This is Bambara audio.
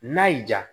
N'a y'i ja